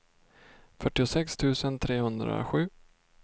fyrtiosex tusen trehundrasju